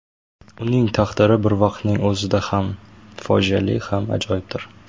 Uning taqdiri bir vaqtning o‘zida ham fojiali ham ajoyibdir.